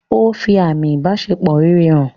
Ó fi àmi ìbáṣepọ̀ rere hàn.